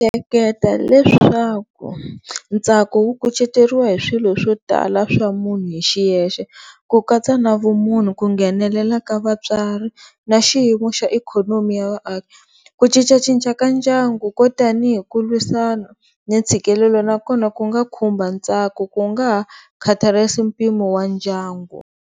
Ndzi ehleketa leswaku ntsako wu kuceteriwa hi swilo swo tala swa munhu hi xiyexe ku katsa na vumunhu ku nghenelela ka vatswari na xiyimo xa ikhonomi ya vaaki, ku cincacinca ka ndyangu ko tanihi ku lwisana ni ntshikelelo nakona ku nga khumba ntsako ku nga ha mpimo wa ndyangu.